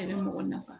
A bɛ mɔgɔ nafa